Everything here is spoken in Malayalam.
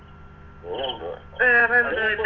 പിന്നെന്തുവാ